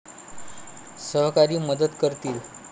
सहकारी मदत करतील.